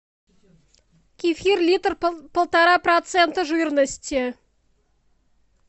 кефир литр полтора процента жирности